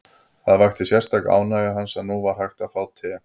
Það vakti sérstaka ánægju hans að nú var hægt að fá te.